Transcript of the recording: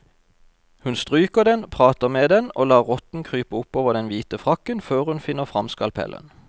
Hun stryker den, prater med den og lar rotten krype oppover den hvite frakken før hun finner frem skalpellen.